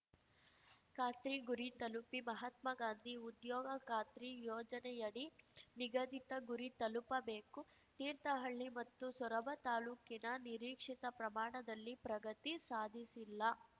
ಖಾತ್ರಿ ಗುರಿ ತಲುಪಿ ಮಹಾತ್ಮಾ ಗಾಂಧಿ ಉದ್ಯೋಗ ಖಾತ್ರಿ ಯೋಜನೆಯಡಿ ನಿಗದಿತ ಗುರಿ ತಲುಪಬೇಕು ತೀರ್ಥಹಳ್ಳಿ ಮತ್ತು ಸೊರಬ ತಾಲೂಕಿನ ನಿರೀಕ್ಷಿತ ಪ್ರಮಾಣದಲ್ಲಿ ಪ್ರಗತಿ ಸಾಧಿಸಿಲ್ಲ